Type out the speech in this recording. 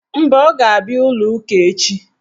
Mba, ọ ga-abịa ụlọụka echi.